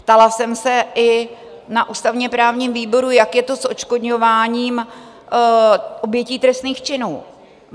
Ptala jsem se i na ústavně-právním výboru, jak je to s odškodňováním obětí trestných činů.